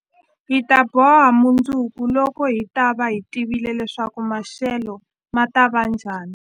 Hi ta boha mundzuku, loko hi ta va hi tivile leswaku maxelo ma ta va njhani.